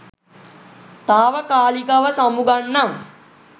තාවකාලිකව සමුගන්නම්